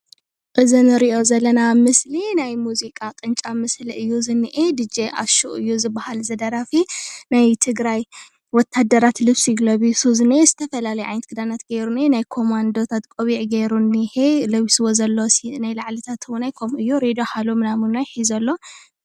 እዚ ንሪኦ ዘለና ምስሊ ናይ ሙዚቃ ቅንጫብ ምስሊ እዩ ዝኒሀ። ድጄ ኣሹ እዩ ዝበሃል እዚ ደራፊ ናይ ትግራይ ወታደራት ልብሲ ለቢሱ ዝተፈላለዩ ዓይነት ክዳናት ጌሩ እንሀ ።ናይ ኮማንዶታት ቆቢዕ ጌሩ እንሀ ።ለቢስዎ ዘሎ ናይ ላዕልታት እውን ከምኡ እዩ። ሬድዮ ሃሎ ምናምን እዉን ሒዙ ኣሎ ።